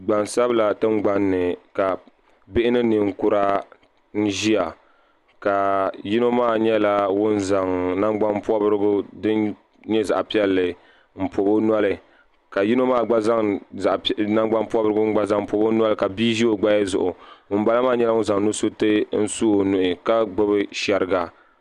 gbansabila tingbanni ka bihi ni ninkura ʒiya ka yino maa nyɛla ŋun zaŋ nagbani pobirigu din nyɛ zaɣ piɛlli n pobi o noli ka yino maa gba zaŋ nangbani pobirigu n pobi o noli ka bia ʒi o naba zuɣu ŋunbala maa nyɛla ŋun zaŋ nusuriti su ka gbubi shɛriga